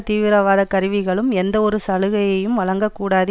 தீவிரவாத கருவிகளும் எந்தவொரு சலுகையையும் வழங்க கூடாது